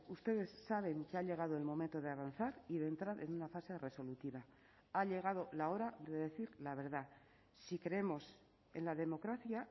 ustedes saben que ha llegado el momento de avanzar y de entrar en una fase resolutiva ha llegado la hora de decir la verdad si creemos en la democracia